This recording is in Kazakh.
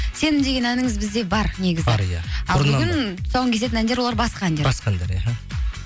сенім деген әніңіз бізде бар негізі бар иә тұсауын кесетін әндер олар басқа әндер басқа әндер иә іхі